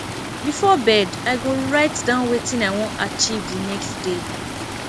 before bed i go write down wetin i wan achieve the next day